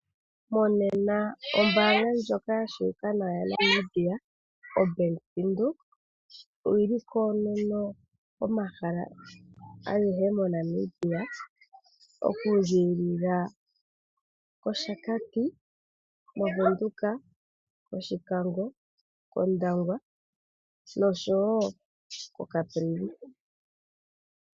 Monena ombaanga ndjoka ya tseyika nawa yaNamibia oBank Windhoek, oyili koonono komahala agehe moNamibia, oku ziilila kOshakati, moVenduka, Oshikango, kOndangwa noshowo koCaprivi.